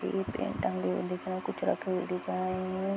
एक पेंट टंगे हुए दिख रहा है कुछ रखे हुए दिख रहा है।